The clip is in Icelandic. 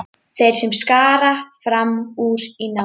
Þeir sem skara fram úr í námi.